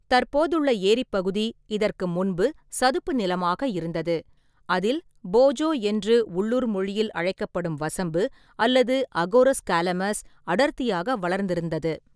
தற்போதுள்ள ஏரிப் பகுதி இதற்கு முன்பு சதுப்பு நிலமாக இருந்தது, அதில் போஜோ என்று உள்ளூர் மொழியில் அழைக்கப்படும் வசம்பு அல்லது அகோரஸ் காலமஸ் அடர்த்தியாக வளர்ந்திருந்தது.